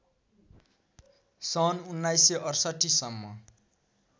सन् १९६८ सम्म